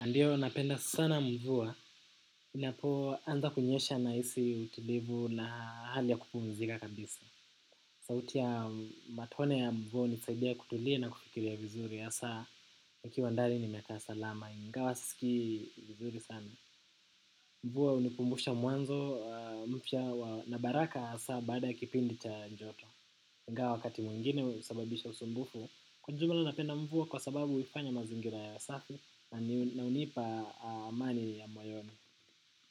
Ndio, napenda sana mvua. Inapo anza kunyesha nahisi utulivu na hali ya kupumzika kabisa. Sauti ya matone ya mvua hunisaidia kutulia na kufikiria vizuri. Hssaa, ukiwa ndani na umekaa salama. Ingawa sisikii vizuri sana. Mvua hunikumbusha mwanzo mpya na baraka hasaa baada kipindi cha joto. Ingawa wakati mwengine husababisha usumbufu. Kwa jumla napenda mvua kwa sababu huifanya mazingira yawe safi na hunipa amani ya moyoni.